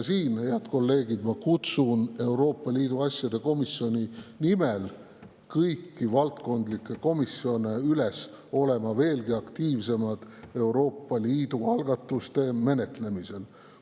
Siinkohal, head kolleegid, ma kutsun Euroopa Liidu asjade komisjoni nimel kõiki valdkondlikke komisjone üles olema veelgi aktiivsem Euroopa Liidu algatuste menetlemisel.